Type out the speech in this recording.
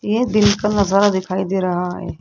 ये दिन का नजारा दिखाई दे रहा है।